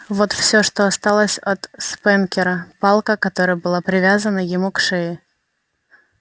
вот всё что осталось от спэнкера палка которая была привязана ему к шее